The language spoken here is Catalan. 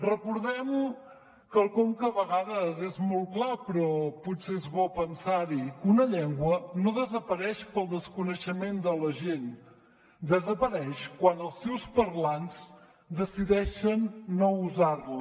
recordem quelcom que a vegades és molt clar però potser és bo pensar hi que una llengua no desapareix pel desconeixement de la gent desapareix quan els seus parlants decideixen no usar la